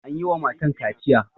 An yi wa matan kaciya.